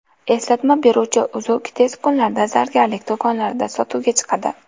Eslatma beruvchi uzuk tez kunlarda zargarlik do‘konlarida sotuvga chiqadi.